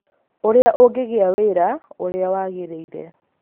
Ũrĩa Ũngĩgĩa Wĩra Ũrĩa Wagĩrĩire